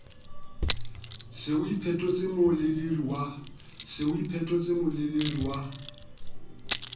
se o iphetotse moleleri wa